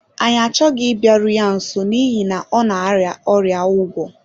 Anyị achọghị ịbịaru ya nso n’ihi na ọ na-arịa ọrịa ugwo.